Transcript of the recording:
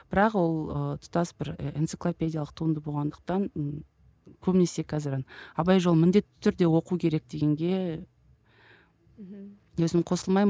бірақ ол ы тұтас бір і энциклопедиялық туынды болғандықтан ы көбінесі қазір абай жолын міндетті түрде оқу керек дегенге мхм өзім қосылмаймын